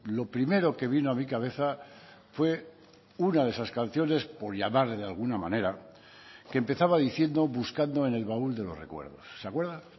lo primero que vino a mi cabeza fue una de esas canciones por llamarle de alguna manera que empezaba diciendo buscando en el baúl de los recuerdos se acuerda